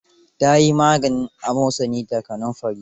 Ta yi maganin amosani da kanunfari.